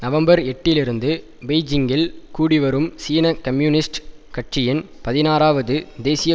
November எட்டிலிருந்து பெய்ஜிங்கில் கூடி வரும் சீன கம்யூனிஸ்ட் கட்சியின் பதினாறாவது தேசிய